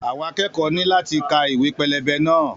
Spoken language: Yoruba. Àwọn akẹ́kọ̀ọ́ náà ní láti ka ìwé pẹlẹbẹ náà.